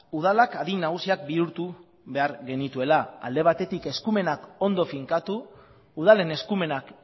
udalak adin nagusiak bihurtu behar genituela alde batetik eskumenak ondo finkatu udalen eskumenak